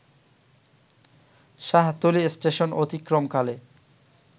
Shahtali station অতিক্রমকালে